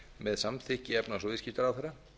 með samþykki efnahags og viðskiptaráðherra